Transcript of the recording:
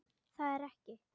Það er ekki.